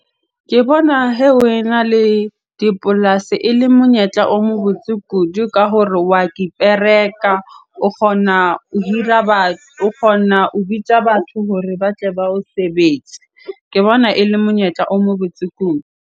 Ke bona hee na le dipolasi ele monyetla o mo botse kudu ka hore wa kipereka. O kgona ho hira o kgona ho bitja batho hore ba tle ba o sebetse. Ke bona ele monyetla o mo botse kudu.